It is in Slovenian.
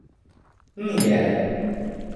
Ni jelen.